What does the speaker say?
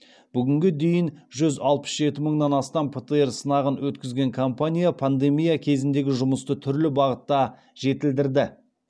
бүгінге дейін жүз алпыс жеті мыңнан астам птр сынағын өткізген компания пандемия кезіндегі жұмысты түрлі бағытта жетілдірді